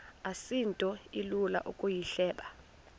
asinto ilula ukuyihleba